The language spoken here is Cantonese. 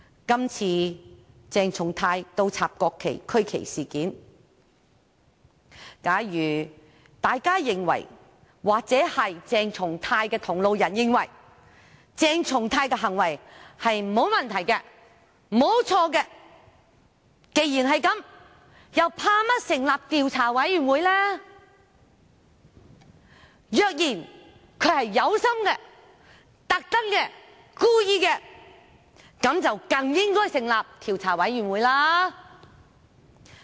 今次鄭松泰議員倒轉擺放國旗及區旗事件，假如大家或鄭松泰議員的同路人認為鄭松泰議員的行為沒有問題、沒有錯，那麼他們為甚麼害怕成立調查委員會？